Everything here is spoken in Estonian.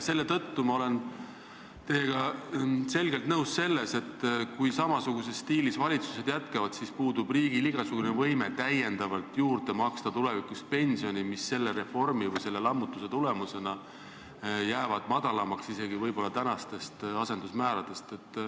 Seetõttu ma olen teiega nõus, et kui samasuguses stiilis valitsused jätkavad, siis puudub riigil igasugune võime maksta tulevikus juurde pensioni, mis selle reformi või lammutuse tulemusena jääb väiksemaks võib-olla isegi praegustest asendusmääradest.